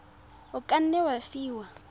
o ka nne wa fiwa